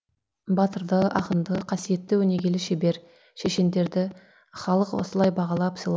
батырды ақынды қасиетті өнегелі шебер шешендерді халық осылай бағалап